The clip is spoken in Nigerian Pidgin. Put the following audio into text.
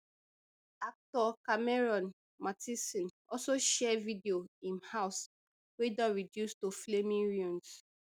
actor cameron mathison also share video im house wey don reduce to flaming ruins